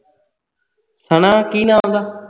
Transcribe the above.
ਸਨਾ ਕੀ ਨਾ ਉਸ ਦਾ